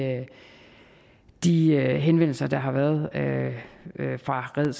de henvendelser der har været fra red